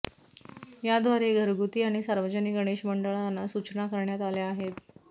याद्वारे घरगुती आणि सार्वजनिक गणेश मंडळांना सूचना करण्यात आल्या आहेत